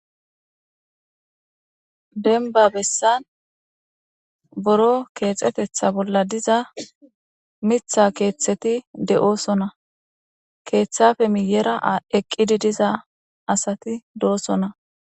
denba bessan boro keexetetha bolla diza mitha keeththeti de7oosona keeththafe miyera eqqidi diza asati doosona